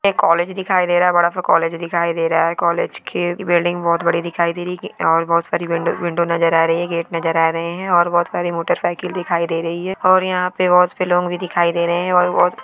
एक कॉलेज दिखाई दे रहा है बड़ा सा कॉलेज दिखाई दे रहा है कॉलेज की बिल्डिंग बहुत बड़ी दिखाई दे रही है और बहुत सारी बिल्डिंग विंडो नजर आ रही है गेट नजर आ रहे हैं और बहुत सारी मोटरसाइकिल दिखाई दे रही है और यहाँ पर बहुत फिल्म लोग भी दिखाई दे रहे हैं और बहुत--